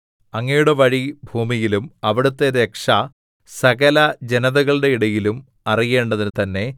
അങ്ങയുടെ വഴി ഭൂമിയിലും അവിടുത്തെ രക്ഷ സകലജനതകളുടെ ഇടയിലും അറിയേണ്ടതിന് തന്നെ